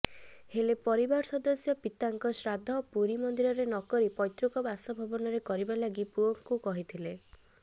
ହେଲେ ପରିବାର ସଦସ୍ୟ ପିତାଙ୍କ ଶ୍ରାଦ୍ଧ ପୁରୀ ମନ୍ଦିରରେ ନକରି ପୈତୃକ ବାସଭବନରେ କରିବା ଲାଗି ପୁଅଙ୍କୁ କହିଥିଲେ